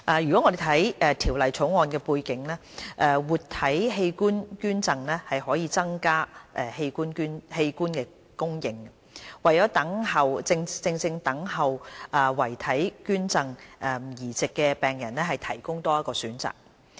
如果我們看《條例草案》的背景，活體器官捐贈可增加器官供應，為正在等候遺體捐贈器官移植的病人提供多一個選擇。